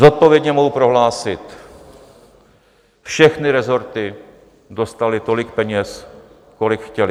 Zodpovědně mohu prohlásit, všechny resorty dostaly tolik peněz, kolik chtěly.